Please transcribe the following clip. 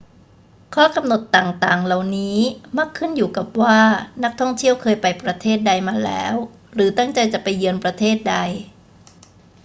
ข้อกำหนดต่าง ๆ เหล่านี้มักขึ้นอยู่กับว่านักท่องเที่ยวเคยไปประเทศใดมาแล้วหรือตั้งใจจะไปเยือนประเทศใด